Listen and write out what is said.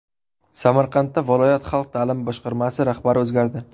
Samarqandda viloyat Xalq ta’limi boshqarmasi rahbari o‘zgardi.